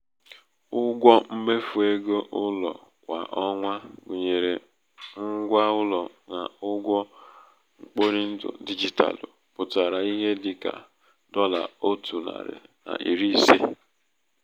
ụgwọ mmefu égo ụlọ kwa ọnwa gụnyere ngwa ụlọ na ụgwọ mkporindụ digitalụ pụtara ihe dị ka dọla ótu nari na iri ise.